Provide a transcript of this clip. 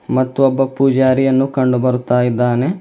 ಮತ್ತು ಒಬ್ಬ ಪೂಜಾರಿಯನ್ನು ಕಂಡು ಬರುತ್ತಾ ಇದ್ದಾನೆ.